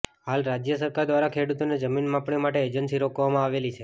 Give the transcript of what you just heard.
હાલ રાજ્ય સરકાર દ્વારા ખેડૂતોની જમીન માપણી માટે એજન્સી રોકવામાં આવેલી છે